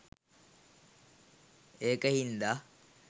ඒක හින්දා